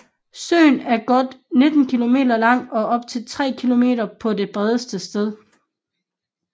Søen er godt 19 km lang og op til 3 km på det bredeste sted